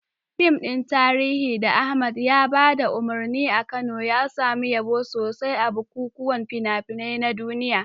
Fim ɗin tarihi da Ahmad ya ba da umarni a Kano, ya samu yabo sosai a bukukuwan fina-finai na duniya.